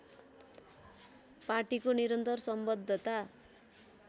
पार्टीको निरन्तर सम्बद्धता